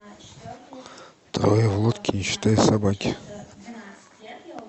трое в лодке не считая собаки